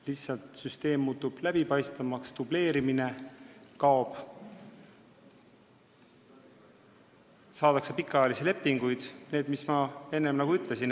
Lihtsalt süsteem muutub läbipaistvamaks, dubleerimine kaob, saadakse pikaajalisi lepinguid – kõik see, mis ma enne ütlesin.